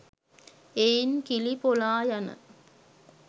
එයින් කිලි පොලායන